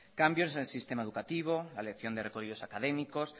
cambios en el sistema educativo académicos